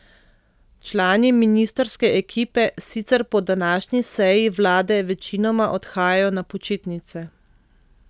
Člani ministrske ekipe sicer po današnji seji vlade večinoma odhajajo na počitnice.